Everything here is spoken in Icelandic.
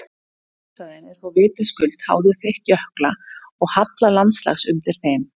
Skriðhraðinn er þó vitaskuld háður þykkt jökla og halla landslags undir þeim.